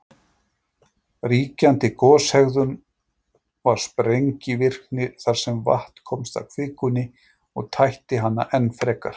Ríkjandi goshegðun var sprengivirkni, þar sem vatn komst að kvikunni og tætti hana enn frekar.